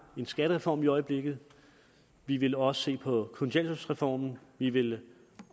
en skattereform i øjeblikket vi vil også se på kontanthjælpsreform og vi vil